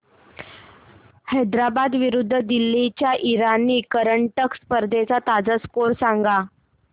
हैदराबाद विरुद्ध दिल्ली च्या इराणी करंडक स्पर्धेचा ताजा स्कोअर सांगा